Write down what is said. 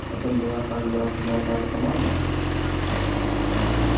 это была каждый раз одна и та же команда